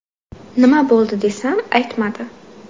Nima bo‘ldi desam, aytmadi.